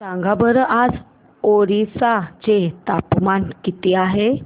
सांगा बरं आज ओरिसा चे तापमान किती आहे